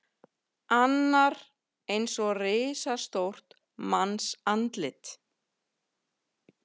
Annar eins og risastórt mannsandlit.